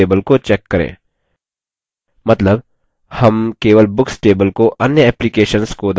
मतलब हम केवल books table को अन्य applications को दर्शाने के लिए बना रहे हैं